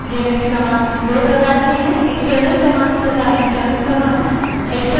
Linux commands दो प्रकार की हैं : external commands तथा internal commands